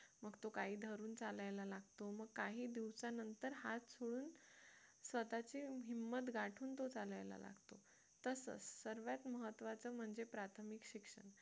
मग तो काही धरून चालायला लागतो मग काही दिवसानंतर हात सोडून स्वतःची हिम्मत गाठून तो चालायला लागतो तसाच सर्वात महत्त्वाचं म्हणजे प्राथमिक शिक्षण